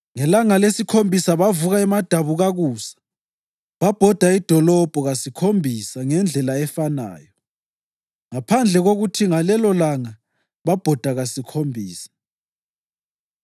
Ngelanga lesikhombisa bavuka emadabukakusa babhoda idolobho kasikhombisa ngendlela efanayo, ngaphandle kokuthi ngalelolanga babhoda kasikhombisa.